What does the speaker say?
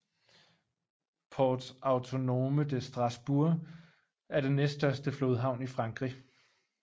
Port Autonome de Strasbourg er den næststørste flodhavn i Frankrig